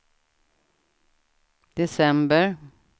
december